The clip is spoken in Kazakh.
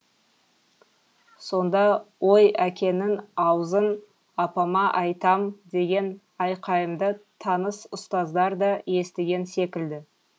сонда ой әкеңнің аузын апама айтам деген айқайымды таныс ұстаздар да естіген секілді